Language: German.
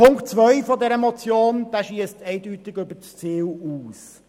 Punkt 2 der Motion schiesst eindeutig über das Ziel hinaus.